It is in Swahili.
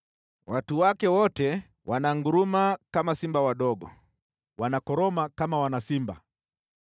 Watu wake wote wananguruma kama simba wadogo, wanakoroma kama wana simba.